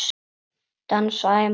Dansaði manna mest.